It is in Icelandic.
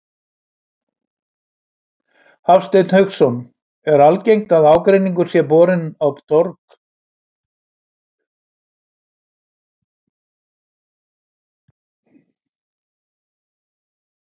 Hafsteinn Hauksson: Er algengt að ágreiningur sé svona borinn á torg?